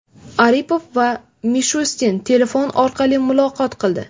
Aripov va Mishustin telefon orqali muloqot qildi.